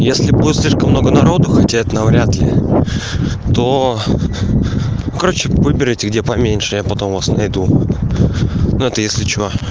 если будет слишком много народу хотя это вряд-ли то короче выберите где поменьше я потом вас найду ну это если что